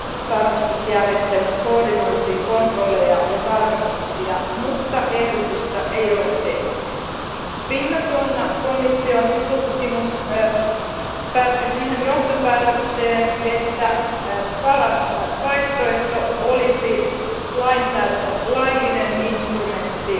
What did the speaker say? tarkastusjärjestelmät, koordinoisi kontrolleja ja tarkastuksia, mutta ehdotusta ei ole tehty. Viime vuonna komission tutkimus päätyi siihen johtopäätökseen, että paras vaihtoehto olisi laillinen instrumentti